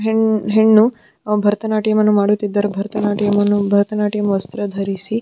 ಹೆಣ್ಣು ಭರನಾಟ್ಯಮ್ಮನ್ನು ಮಾಡುತ್ತಿದ್ದಾರೆ ಭರನಾಟ್ಯಮ್ಮನ್ನು ಭರತನಾಟ್ಯಮ್ಮ್ ವಸ್ತ್ರ ಧರಿಸಿ.